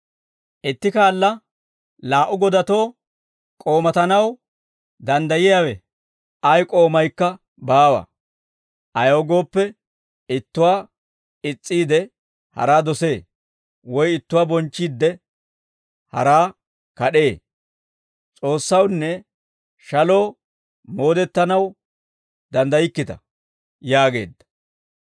«Itti kaala laa"u godatoo k'oomatanaw danddayiyaawe ay k'oomaykka baawa; ayaw gooppe, ittuwaa is's'iide, haraa dosee; woy ittuwaa bonchchiidde, haraa kad'ee; S'oossawunne shaloo moodettanaw danddaykkita» yaageedda.